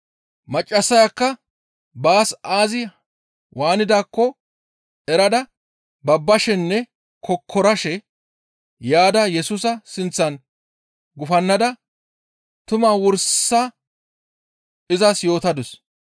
Maccassayakka baas aazi waanidaakko erada babbashenne kokkorashe yaada Yesusa sinththan gufannada tumaa wursa izas yootadus.